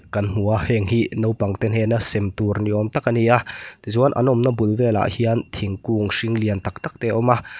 kan hmu a henghi naupang te hnena sem tur ni awm tak ania tichuan an awmna bul velah hian thingkung hring lian tak tak te a awm a.